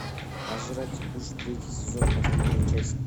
пожиратель душ третий сезон последняя часть